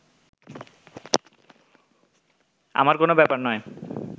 আমার কোনো ব্যাপার নয়